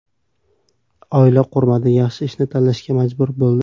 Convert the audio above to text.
Oila qurmadi, yaxshi ishini tashlashga majbur bo‘ldi.